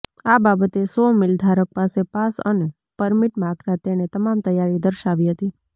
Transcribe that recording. આ બાબતે saw mill ધારક પાસે પાસ અને પરમીટ માંગતા તેણે તમામ તૈયારી દર્શાવી હતી